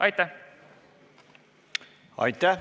Aitäh!